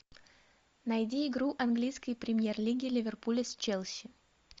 найди игру английской премьер лиги ливерпуля с челси